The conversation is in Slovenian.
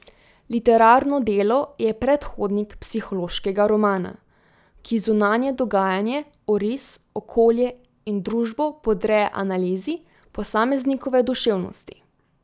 Literarno delo je predhodnik psihološkega romana, ki zunanje dogajanje, oris, okolje in družbo podreja analizi posameznikove duševnosti.